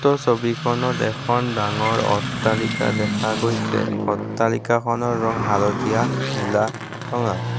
উক্ত ছবিখনত এখন ডাঙৰ অট্টালিকা দেখা গৈছে অট্টালিকাখনৰ ৰং হালধীয়া নীলা ৰঙা।